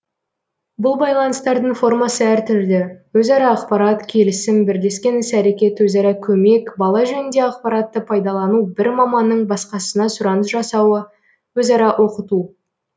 бұл байланыстардың формасы әртүрлі өзара ақпарат келісім бірлескен іс әрекет өзара көмек бала жөнінде ақпаратты пайдалану бір маманның басқасына сұраныс жасауы өзара оқыту